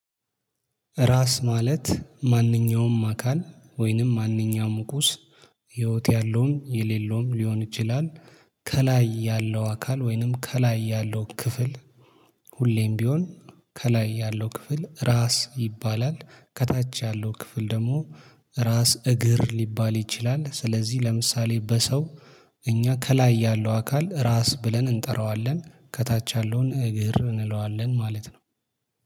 ራስ ማለት ማንኛውም አካል ወይንም ማንኛውም ቁስ ህይወት ያለውም የሌለውም ሊሆን ይችላል። ከላይ ያለው አካል ወይንም ከላይ ያለው ክፍል ሁሌም ቢሆን ከላይ ያለው ክፍል ራስ ይባላል። ከታች ያለው ክፍል ደግሞ ራስ እግር ሊባል ይችላል። ስለዚህ ለምሳሌ በሰው እኛ ከላይ ያለው አካል ራስ ብለን እንጠራዋለን ከታች ያለውን እግር እንለዋለን ማለት ነው